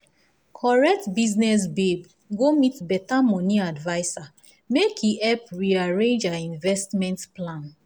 correct business babe go meet better money adviser make e help rearrange her investment plan.